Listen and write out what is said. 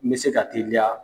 N bɛ se ka teliya